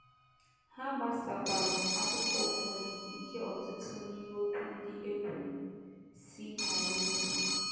Ha gbasakwara akụkọ ụfọdụ nke ọtụtụ n’ime okwu ndị e kwuru, si *na redio.